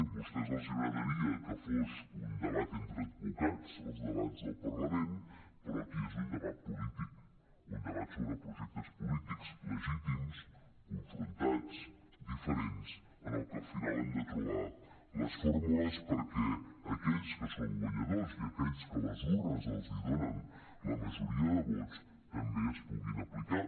a vostès els agradaria que fos un debat entre advocats els debats del parlament però aquí és un debat polític un debat sobre projectes polítics legítims confrontats diferents en el que al final hem de trobar les fórmules perquè aquells que són guanyadors i aquells que les urnes els donen la majoria de vots també es puguin aplicar